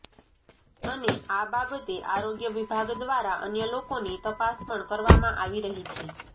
અને આ બાબતે આરોગ્ય વિભાગ દ્વારા અન્ય લોકોની તપાસ પણ કરવામાં આવી રહી છે